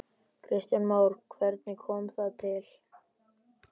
Kristján Már: Hvernig kom það til?